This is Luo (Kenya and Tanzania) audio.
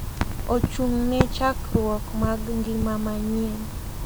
Ochung’ ne chakruok mar ngima manyien